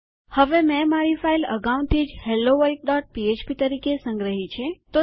હવે મેં મારી ફાઈલ અગાઉથી જ હેલોવલ્ડપીએચપી helloworldફ્ફ્પ તરીકે સંગ્રહી છે